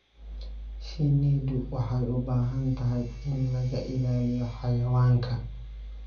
Shinnidu waxay u baahan tahay in laga ilaaliyo xayawaanka.